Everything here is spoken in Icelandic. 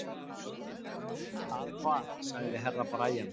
Að hvað, sagði Herra Brian.